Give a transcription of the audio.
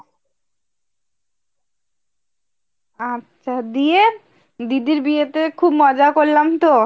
আচ্ছা দিয়ে দিদির বিয়েতে খুব মজা করলাম তো।